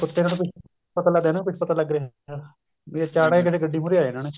ਕੁੱਤੇ ਨੂੰ ਨੀ ਕੁੱਝ ਪਤਾ ਲੱਗਦਾ ਇਹਨੂੰ ਨੀ ਕੁੱਝ ਪਤਾ ਲੱਗ ਰਿਹਾ ਅਚਾਨਕ ਗੱਡੀ ਮੁਹਰੇ ਆ ਜਾਣਾ ਉਹਨੇ